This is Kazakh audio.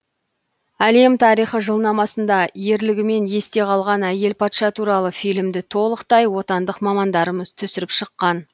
әлем тарихы жылнамасында ерлігімен есте қалған әйел патша туралы фильмді толықтай отандық мамандарымыз түсіріп шыққан